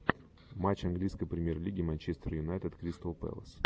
матч английской премьер лиги манчестер юнайтед кристал пэлас